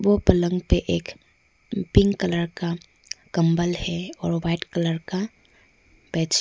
पलंग पर एक पिंक कलर का कंबल है और व्हाइट कलर का बेडशीट ।